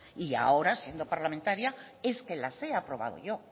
y ahora siendo parlamentaria es que las he aprobado yo